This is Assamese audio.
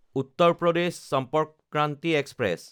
উত্তৰ প্ৰদেশ চম্পৰ্ক ক্ৰান্তি এক্সপ্ৰেছ